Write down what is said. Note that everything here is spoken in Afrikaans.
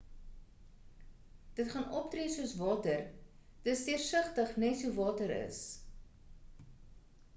dit gaan optree soos water dis deursigtig nes hoe water is